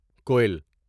کوئل